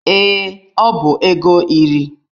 Ee, ọ bụ ego iri